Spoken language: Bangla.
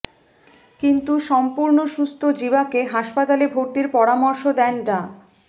কিন্তু সম্পূর্ণ সুস্থ জিবাকে হাসপাতালে ভর্তির পরামর্শ দেন ডা